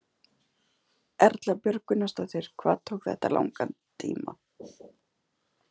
Erla Björg Gunnarsdóttir: Hvað tók þetta langan tíma?